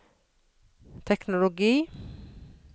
teknologi